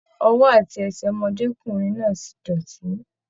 Ọwọ àti ẹsẹ ọmọdékunrin náà ti dọ́tì.